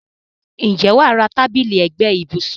Ǹjẹ́ wà á ra tábìlì ẹ̀gbẹ́ ibùsùn.